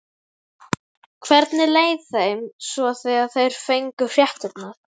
Hvernig leið þeim svo þegar þeir fengu fréttirnar?